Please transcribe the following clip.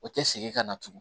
O tɛ segin ka na tugun